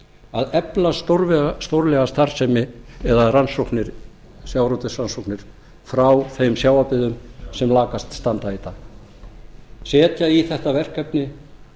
að efla stórlega starfsemi eða sjávarútvegsrannsóknir frá þeim sjávarbyggðum sem lakast standa í dag setja í þetta verkefni